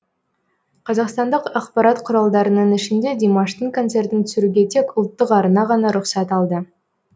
қазақстандық ақпарат құралдарының ішінде димаштың концертін түсіруге тек ұлттық арна ғана рұқсат алды